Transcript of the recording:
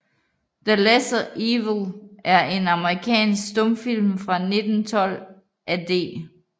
The Lesser Evil er en amerikansk stumfilm fra 1912 af D